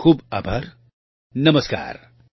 ખુબ ખુબ આભાર નમસ્કાર